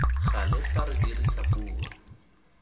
gale fa re dirisa puo